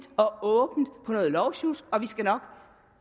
og åbent på noget lovsjusk og vi skal nok